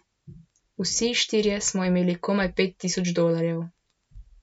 Vsi štirje smo imeli komaj pet tisoč dolarjev.